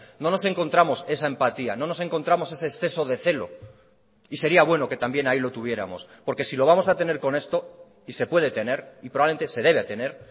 no nos encontramos esa empatía no nos encontramos ese exceso de celo y sería bueno que también ahí lo tuviéramos porque si lo vamos a tener con esto y se puede tener y probablemente se debe tener